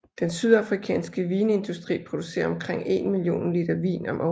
Den sydafrikanske vinindustri producerer omkring en million liter vin om året